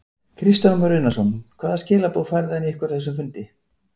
Kristján Már Unnarsson: Hvaða skilaboð færði hann ykkur á þessum fundi?